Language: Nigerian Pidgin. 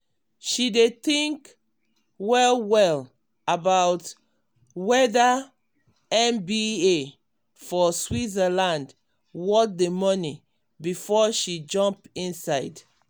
she dey think well-well about wether mba for switzerland worth the money before she jump inside.